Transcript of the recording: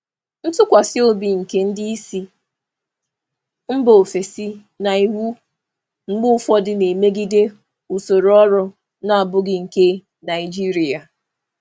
Nkwusi ike ndị oga si mba ọzọ na iwu na-emegide mgbe ụfọdụ na usoro ọrụ Naịjirịa na-abụghị nke nkịtị.